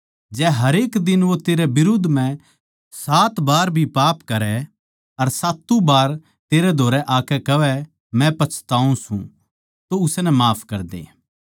जै हरेक दिन वो तेरे बिरुद्ध म्ह सात बार भी पाप करै अर सात्तु बार तेरै धोरै आकै कहवै मै पछताऊँ सूं तो उसनै माफ करदे